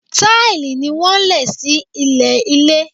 Táìlì ni wọ́n lẹ̀ sí ilẹ̀ ilé.